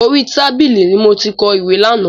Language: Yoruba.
Orí tábìlì ni mo ti kọ ìwé lánàá.